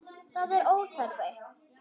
Það er óþarfi.